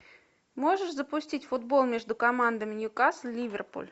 можешь запустить футбол между командами ньюкасл ливерпуль